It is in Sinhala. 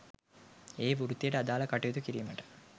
ඒ වෘත්තියට අදාළ කටයුතු කිරීමට